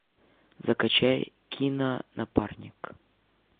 закачай кино напарник